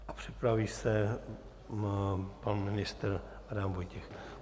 A připraví se pan ministr Adam Vojtěch.